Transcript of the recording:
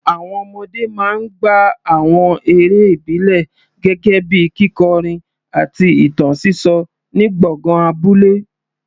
Àwọn ọmọdé máa ń gbá àwọn eré ìbílẹ̀ gẹ́gẹ́ bíi kíkọrin àti ìtàn sísọ ní gbọ̀ngàn abúlé.